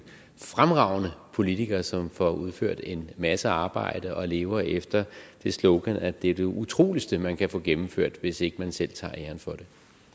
fremragende politiker som får udført en masse arbejde og lever efter sloganet at det er det utroligste man kan få gennemført hvis ikke man selv tager æren for det